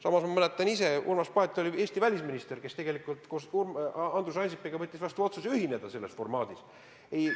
Samas ma mäletan, et Urmas Paet oli see Eesti välisminister, kes võttis koos Andrus Ansipiga vastu otsuse ühineda selles formaadis koostööga.